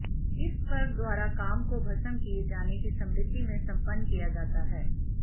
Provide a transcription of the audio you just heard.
इस पर्व द्वारा काम को भस्म किए जाने की स्मृति में सम्पन्न किया जाता है